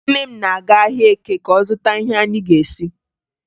Nne m na-aga ahịa Eke ka ọ zụta ihe anyị ga-esi